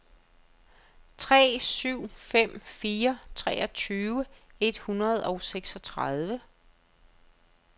tre syv fem fire treogtyve et hundrede og seksogtredive